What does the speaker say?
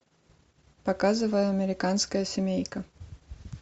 показывай американская семейка